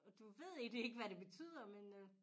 Og du ved egentlig ikke hvad det betyder men øh